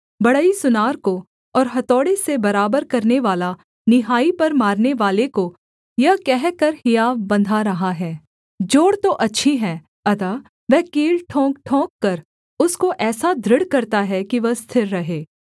बढ़ई सुनार को और हथौड़े से बराबर करनेवाला निहाई पर मारनेवाले को यह कहकर हियाव बन्धा रहा है जोड़ तो अच्छी है अतः वह कील ठोंकठोंककर उसको ऐसा दृढ़ करता है कि वह स्थिर रहे